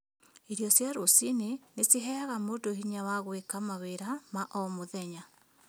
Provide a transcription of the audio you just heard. Irio cia rũciinĩ nĩ ciheaga mũndũ hinya wa gwĩka mawĩra ma o mũthenya